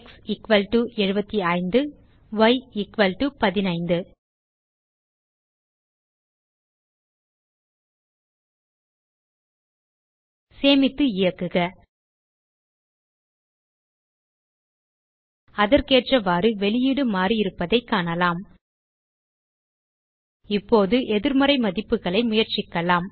x75y 15 சேமித்து இயக்குக அதற்கேற்றவாறு வெளியீடு மாறியிருப்பதைக் காணலாம் இப்போது எதிர்மறை மதிப்புகளை முயற்சிக்கலாம்